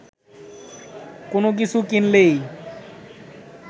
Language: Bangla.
কোনো কিছু কিনলেই